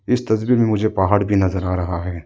इस तस्वीर में मुझे पहाड़ भी नजर आ रहा है।